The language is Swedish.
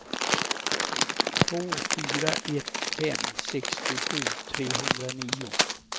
två fyra ett fem sextiosju trehundranio